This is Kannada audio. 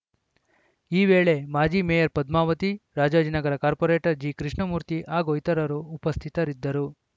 ಈ ವೇಳೆ ಮಾಜಿ ಮೇಯರ್‌ ಪದ್ಮಾವತಿ ರಾಜಾಜಿನಗರ ಕಾರ್ಪೋರೇಟರ್‌ ಜಿಕೃಷ್ಣಮೂರ್ತಿ ಹಾಗೂ ಇತರರು ಉಪಸ್ಥಿತಿರಿದ್ದರು